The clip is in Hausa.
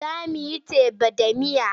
Za mu yi teba da miya.